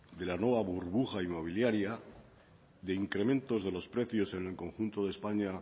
de la nueva burbuja inmobiliaria de incrementos de los precios en el conjunto de españa